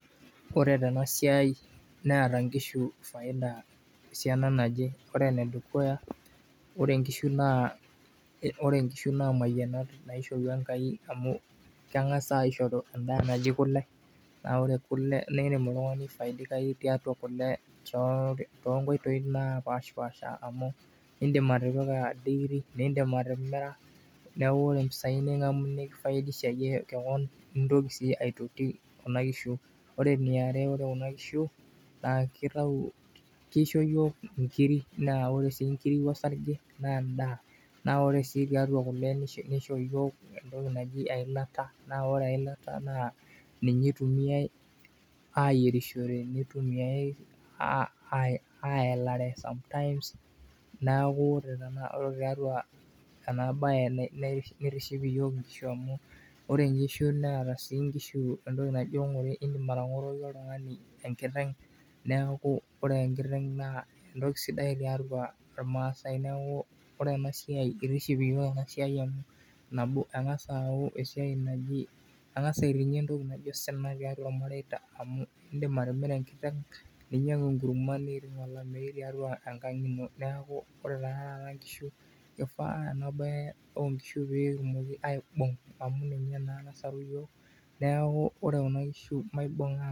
ore tena siai neeta inkishu faida esiana naje, ore enedukuya naa ore inkishu naa imayianat naishorua enkai, idim oltungani aifaidikayu tiatua kule too inkoitoi naapash paasha, amu idim atimira , nitokii sii aitoti kuna kishu, ore eniare naa ore kuna kishu kisho iyiook inkiri, naa edaa ore sii tiatua kule nisho iyiok entoki naji eilata naa ore eilata naa ninye itumiyai ayierishore, ayalare ,neeku ore tiatua ena baye kitiship iyiok inkishu oleng amu kitingie osina too ilamareita neeku kishaa pee kibung enasiai oleng.